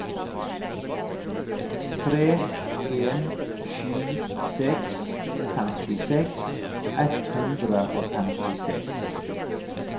tre en sju seks femtiseks ett hundre og femtiseks